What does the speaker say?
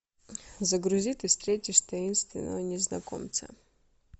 загрузи ты встретишь таинственного незнакомца